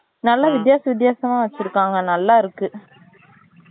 நல்லா வித்தியாச வித்தியாசமா வச்சிருகாங்க நல்லா இருக்கு